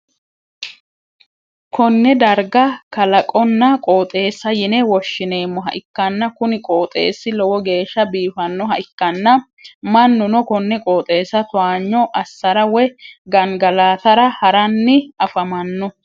konne darga kalaqonna qooxeessa yine woshhsineemmoha ikkanna, kuni qooxeessi lowo geeshsha biifannoha ikkanna ,mannuno konne qooxeessa towaanyo assara woy gangalatra ha'ranni afamanno.